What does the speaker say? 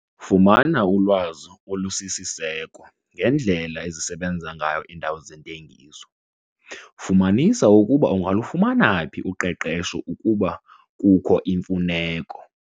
Fumana ulwazi olusisiseko ngendlela ezisebenza ngayo iindawo zentengiso. Fumanisa ukuba ungalufumana phi uqeqesho ukuba kukho imfuneko.